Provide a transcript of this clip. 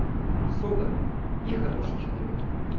сода нехороший человек